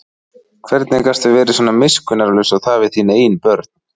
Hvernig gastu verið svona miskunnarlaus og það við þín eigin börn?